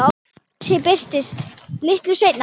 Bjössi birtist litlu seinna.